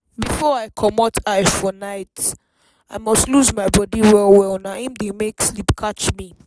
before i comot eye for night i must loose my body well well na im dey make sleep catch me.